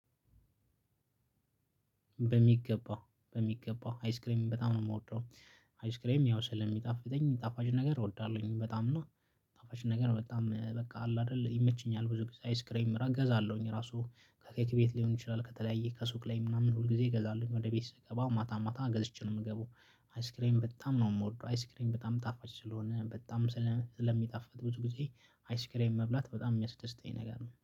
በሚገባ በሚገባ አይስክሬም በጣም ነው የምወደው። አይስክሬም ያው ስለሚጣፍጠኝ ጣፋጭ ነገር እወዳለሁኝ በጣም ነው። ጣፋጭ ነገር በጣም በቃ አለ አይደል ይመችኛል። ብዙ ጊዜ አይስክሬም እገዛለሁኝ ራሱ ከኬክ ቤት ሊሆን ይችላል ከተለያየ ከሱቅ ላይ ምናምን ሁል ጊዜ እገዛለሁኝ ወደ ቤት ስገባ ማታ ማታ ገዝቼ ነው የምገባው። አይስክሬም በጣም ነው የምወደው አይስክሬም በጣም ጣፋጭ ስለሆነ በጣም ስለሚጣፍጥ ብዙ ጊዜ አይስክሬም መብላት በጣም የሚያስደስተኝ ነገር ነው